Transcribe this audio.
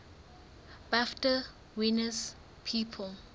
bafta winners people